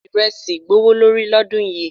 Iresi gbówó lórí lọ́dún yìí.